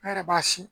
An yɛrɛ b'a sin